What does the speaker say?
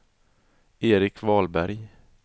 Erik Wahlberg